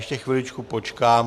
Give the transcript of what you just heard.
Ještě chviličku počkám...